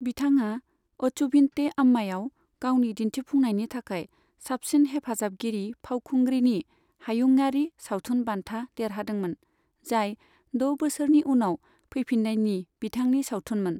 बिथाङा अचुभिन्ते अम्मायाव गावनि दिन्थिफुंनायनि थाखाय साबसिन हेफाजाबगिरि फावखुंग्रिनि हायुंयारि सावथुन बान्था देरहादोंमोन, जाय द' बोसोरनि उनाव फैफिन्नायनि बिथांनि सावथुनमोन।